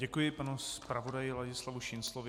Děkuji panu zpravodaji Ladislavu Šinclovi.